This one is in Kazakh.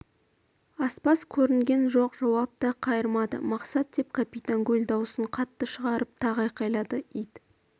аспаз көрінген жоқ жауап та қайырмады мақсат деп капитан гуль даусын қаттырақ шығарып тағы айқайлады ит